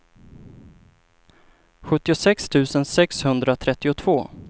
sjuttiosex tusen sexhundratrettiotvå